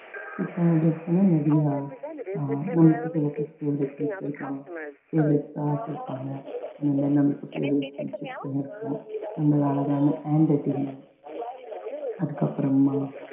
திட்டாதிருக்குள்ள நிறைய அஹ் நம்மளுக்கு சில miss favourite miss இருப்பாங்க favourite அந்த மாதிரி நம்மளுக்கு favourite friendship ன்னு இருக்கும் நம்மள அழகான handwriting ல அதுக்கப்புறமா